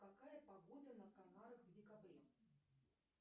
какая погода на канарах в декабре